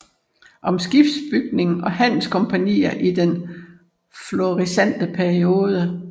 Om skibsbygning og handelskompagnier i den florissante periode